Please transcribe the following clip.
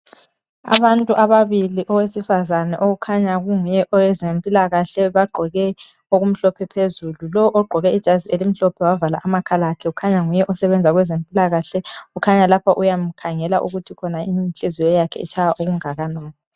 Abantu ababili owesifazana okhanya kunguye owezempikahle bagqoke okumhlophe phezulu lowo ogqoke ijazi elimhlophe wavala amakhala kukhanya nguye osebenza kwezempilakahle kukhanya lapha uyamkhangela ukuthi inhliziyo yakhe itshaya okungakanani.